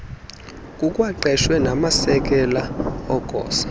kukwaqeshwe namasekela egosa